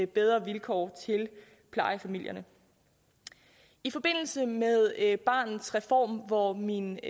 bedre vilkår til plejefamilierne i forbindelse med barnets reform hvor min